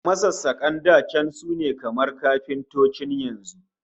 Masassakan da can sune kamar kafintocin yanzu